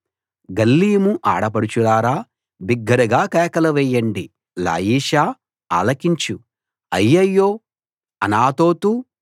గల్లీము ఆడపడుచులారా బిగ్గరగా కేకలు వేయండి లాయిషా ఆలకించు అయ్యయ్యో అనాతోతు